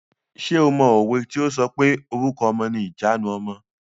Ṣé o mọ òwe tí o sọ pé "Orúkọ ọmọ ni ìjanu ọmọ".